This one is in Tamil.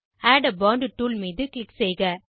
ஆட் ஆ போண்ட் டூல் மீது க்ளிக் செய்க